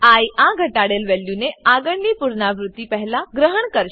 I આ ઘટાડેલ વેલ્યુને આગળની પુનરાવૃત્તિ પહેલા ગ્રહણ કરશે